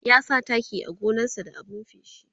ya sa taki a gonan sa da abun feshi